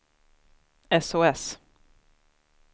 sos